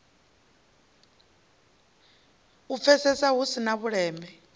pfesesea hu si na vhuleme